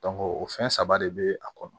o fɛn saba de be a kɔnɔ